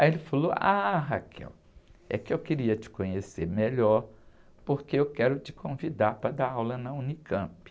Aí ele falou, ah, é que eu queria te conhecer melhor, porque eu quero te convidar para dar aula na unicampi.